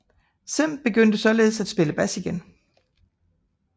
Cem begyndte således at spille bas igen